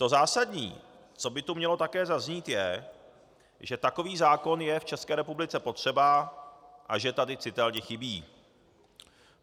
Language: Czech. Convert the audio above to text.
To zásadní, co by tu mělo také zaznít, je, že takový zákon je v České republice potřeba a že tady citelně chybí.